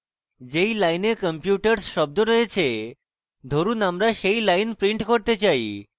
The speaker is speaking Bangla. say lines computers শব্দ রয়েছে ধরুন আমরা say lines print করতে say